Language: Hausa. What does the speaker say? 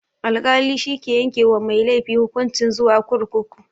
Alkali shike yanke wa mai laifi hukunci zuwa kurkuku.